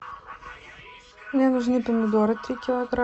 мне нужны помидоры три килограмма